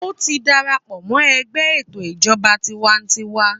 Ó ti dara pọ̀ mọ́ ẹgbẹ́ ètò ìjọba tiwańtiwa.